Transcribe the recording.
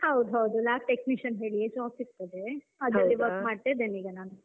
ಹೌದ್ ಹೌದ್, Lab Technician ಹೇಳಿಯೇ job ಸಿಗ್ತದೆ ಅಲ್ಲೇ work ಮಾಡ್ತಾ ಇದ್ದೆನೆ ನಾನು.